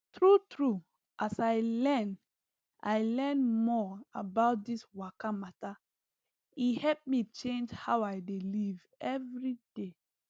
true true as i learn i learn more about this waka matter e help me change how i dey live every day